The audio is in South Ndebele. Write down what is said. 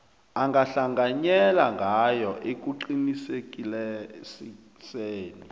angahlanganyela ngayo ekuqinisekiseni